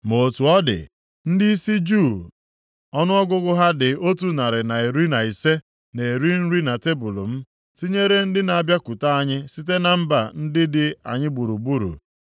Ma otu ọ dị, ndịisi Juu ọnụọgụgụ ha dị otu narị na iri na ise na-eri nri na tebul m, tinyere ndị na-abịakwute anyị site na mba ndị dị anyị gburugburu.